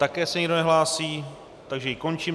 Také se nikdo nehlásí, takže ji končím.